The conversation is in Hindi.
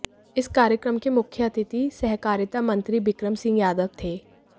इस कार्यक्रम के मुुख्य अतिथि सहकारिता मंत्री बिक्रम सिंह यादव थे